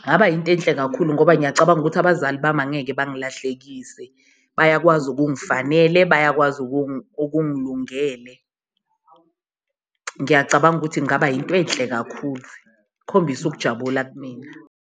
kungaba yinto enhle kakhulu ngoba ngiyacabanga ukuthi abazali bami angeke bangilahlekise, bayakwazi okungafanele bayakwazi okungilungele. Ngiyacabanga ukuthi kungaba yinto enhle kakhulu, ukukhombisa ukujabula kumina.